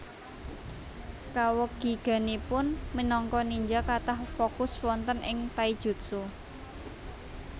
Kawegiganipun minangka ninja kathah fokus wonten ing taijutsu